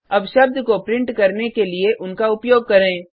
अब शब्द को प्रिंट करने के लिए उनका उपयोग करें